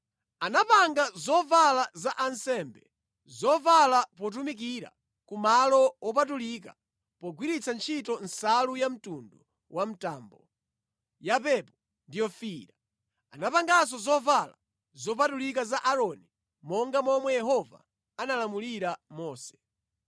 Anapanga zovala za ansembe, zovala potumikira ku malo wopatulika pogwiritsa ntchito nsalu ya mtundu wa mtambo, yapepo ndi yofiira. Anapanganso zovala zopatulika za Aaroni monga momwe Yehova analamulira Mose.